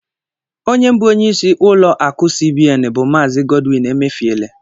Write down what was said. Onye bụ onyeisi ụlọ akụ cbn bu Maazi Godwin Emefiele